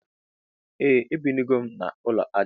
Ee ebinugom na ulọ aja